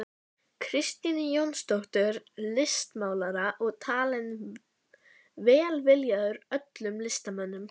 Kristínu Jónsdóttur listmálara og talinn velviljaður öllum listamönnum.